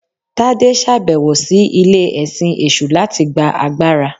Tade ṣabẹwo si ile-ẹsin eṣu latí gbá àgbará.